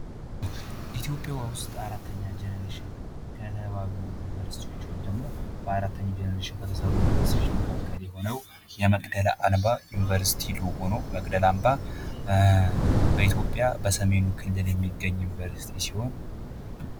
ኢትዮጵያ ውስጥ አራተኛ ጄኔሬሽን ካሉ ዩኒቨርስቲዎች ወይም ደሞ ባራተኛው ጄኔሬሽን ከተሰሩ ዩኒቨርስቲዎች መካከል የሆነው የመቅደለ አምባ ዩኒቨርስቲ ሎጎ ነው። መቅደላ አምባ በኢትዮጵያ በሰሜኑ ክልል የሚገኝ ዩኒቨርስቲ ሲሆን።